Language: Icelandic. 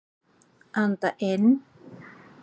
Anda inn.